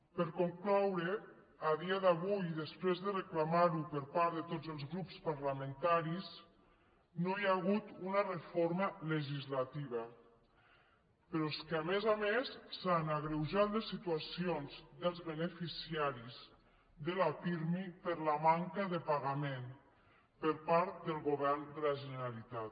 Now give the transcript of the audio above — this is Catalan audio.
per a concloure a dia d’avui i després de reclamar ho per part de tots els grups parlamentaris no hi ha hagut una reforma legislativa però és que a més a més s’han agreujat les situacions dels beneficiaris de la pirmi per la manca de pagament per part del govern de la generalitat